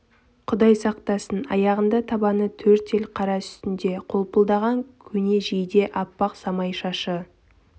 құдай сақтасын аяғында табаны төрт ел қара үстінде қолпылдаған көне жейде аппақ самай шашы